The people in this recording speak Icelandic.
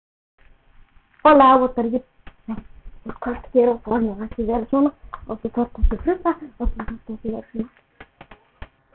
Trompetið, gamalt og lúið, hafði líka fylgt með.